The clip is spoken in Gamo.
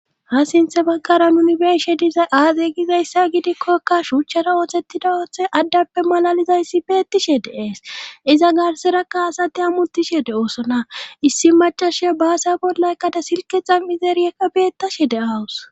Ha sinthe baggara nunibenshe diza aade gizayssa gidikkoka shuuchchara ooththettida ooththe addappe malalizayssi beettishe de ees iza garserakka asati ammuttishe de oosona issi machashiya baasya bolaykkada silkexa mizeeriyekka beettashe de7awus